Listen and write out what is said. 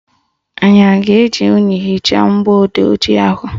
Anyị a ga-eji unyi hichaa mgbọodee ojii ahụ?